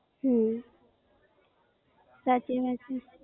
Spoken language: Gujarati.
હમ સાચી વાત છે.